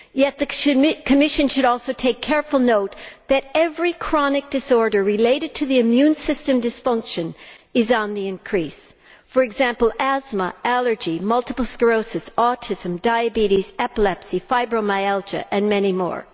Yet the Commission should also take careful note that every chronic disorder related to the immune system dysfunction is on the increase, for example, asthma, allergy, multiple sclerosis, autism, diabetes, epilepsy, fibromyalgia and many more.